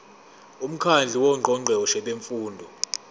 umkhandlu wongqongqoshe bemfundo